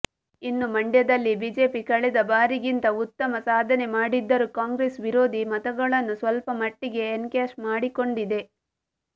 ಇನ್ನು ಮಂಡ್ಯದಲ್ಲಿ ಬಿಜೆಪಿ ಕಳೆದ ಬಾರಿಗಿಂತ ಉತ್ತಮ ಸಾಧನೆ ಮಾಡಿದ್ದರೂ ಕಾಂಗ್ರೆಸ್ ವಿರೋಧಿ ಮತಗಳನ್ನು ಸ್ವಲ್ಪ ಮಟ್ಟಿಗೆ ಎನ್ಕ್ಯಾಶ್ ಮಾಡಿಕೊಂಡಿದೆ